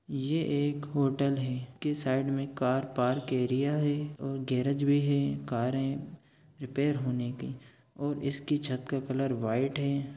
ये एक होटल है के साइड में कार पार्क एरिया है और गैरेज भी है कार है रिपेर होने के और इसके छत के कलर व्हाइट हैं ।